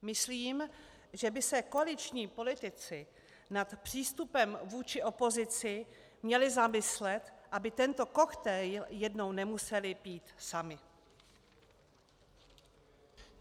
Myslím, že by se koaliční politici nad přístupem vůči opozici měli zamyslet, aby tento koktejl jednou nemuseli pít sami.